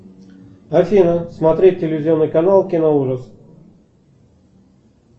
афина смотреть телевизионный канал кино ужас